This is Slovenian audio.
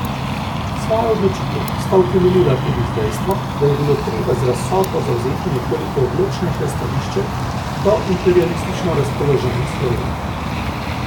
Svojo odločitev sta utemeljila tudi z dejstvom, da je bilo treba z razsodbo zavzeti nekoliko odločnejše stališče do imperialistično razpoložene Slovenije.